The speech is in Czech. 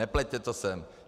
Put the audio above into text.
Nepleťte to sem!